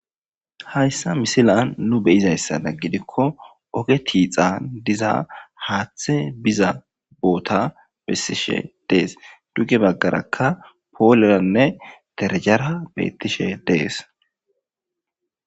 Haysa misiliyan nu beyizaysadan giddikko oge keththa dizza haththe biza bota besishshen de'es dugge bagarakka poleranne derejara betteshe de'es.